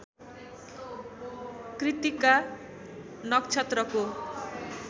कृत्तिका नक्षत्रको